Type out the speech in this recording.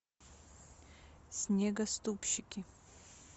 снегоступщики